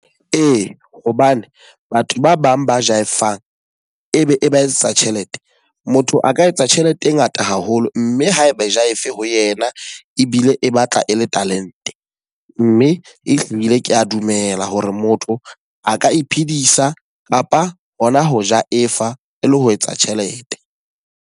Ee, hobane batho ba bang ba jive-ang e be e ba etsetsa tjhelete. Motho a ka etsa tjhelete e ngata haholo. Mme ha e ba e jive ho yena ebile e batla e le talente. Mme ehlile ke a dumela hore motho a ka iphedisa kapa hona ho jive-a e le ho etsa tjhelete.